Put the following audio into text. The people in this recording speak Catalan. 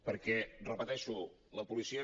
perquè ho repeteixo la policia